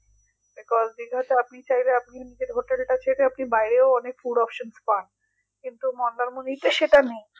দশ দিনে তো আপনি চাইলে আপনি নিজের hotel তা ছেড়ে আপনি বাইরেও অনেক food option পান কিন্তু মন্দারমণীতে সেইটা নেই